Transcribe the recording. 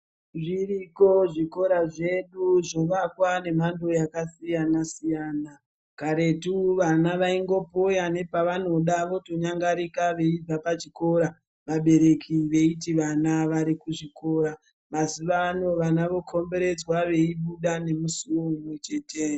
Zviriko zvikora zvedu zvovakwa nemhando yakasiyana siyana karetu vana vaingopoya nepavanoda votonyangarika veibva pachikora vabereki veiti vana vari kuchikora mazuwa ano vana vokomberedzwa veibuda nemusiwo umwe chete.